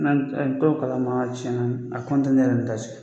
N'an n t'o kala ma tiɲɛna ,a kuma tɛ ne yɛrɛ n ta cɛ